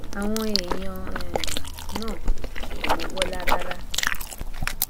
àwọn èèyàn um náà kò mọ bọlá rárá